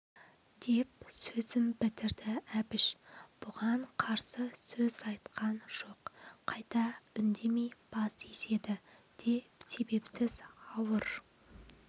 деп сөзін бітірді әбіш бұған қарсы сөз айтқан жоқ қайта үндемей бас изеді де себепсіз ауыр